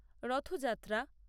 Rath Yatra